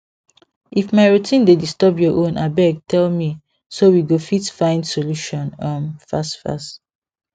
if my routine dey disturb your own abeg tell me so we go fit find solution um fast fast